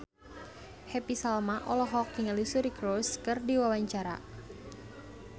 Happy Salma olohok ningali Suri Cruise keur diwawancara